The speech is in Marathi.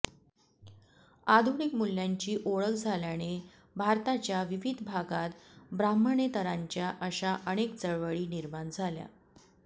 आधुनिक मूल्यांची ओळख झाल्याने भारताच्या विविध भागांत ब्राह्मणेतरांच्या अशा अनेक चळवळी निर्माण झाल्या